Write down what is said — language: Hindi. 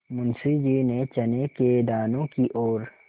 मुंशी जी ने चने के दानों की ओर